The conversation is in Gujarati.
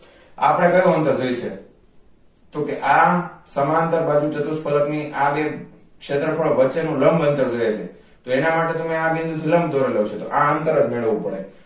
આપણને કયું અંતર જોઈએ છે તો કે આ સમાંતર બાજુ ચતુષ્ફલક ની આ બે ક્ષેત્રફળ વચ્ચે નું લંબ અંતર જોઈએ છે તો એના માટે લંબ દોરેલો છે તો આ અંતર જ મેળવવું પડે